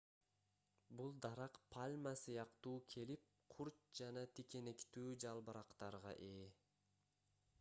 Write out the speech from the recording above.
бул дарак пальма сыяктуу келип курч жана тикенектүү жалбырактарга ээ